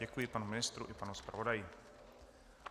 Děkuji panu ministru i panu zpravodaji.